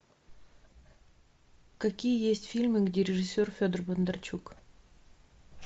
какие есть фильмы где режиссер федор бондарчук